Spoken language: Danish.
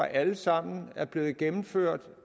alle sammen er blevet gennemført